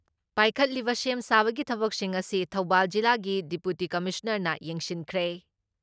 ꯄꯥꯏꯈꯠꯂꯤꯕ ꯁꯦꯝ ꯁꯥꯕꯒꯤ ꯊꯕꯛꯁꯤꯡ ꯉꯁꯤ ꯊꯧꯕꯥꯜ ꯖꯤꯂꯥꯒꯤ ꯗꯤꯄꯨꯇꯤ ꯀꯃꯤꯁꯅꯥꯔꯅ ꯌꯦꯡꯁꯤꯟꯈ꯭ꯔꯦ ꯫